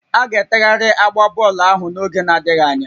A ga-etegharị agba bọọlụ ahụ n'oge adịghị anya